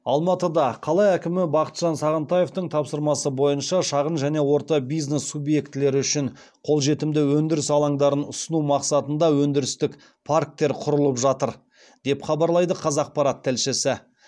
алматыда қала әкімі бақытжан сағынтаевтың тапсырмасы бойынша шағын және орта бизнес субъектілері үшін қолжетімді өнідіріс алаңдарын ұсыну масқатында өндірістік парктер құрылып жатыр деп хабарлайды қазақпарат тілшісі